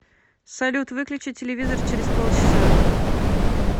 салют выключи телевизор через полчаса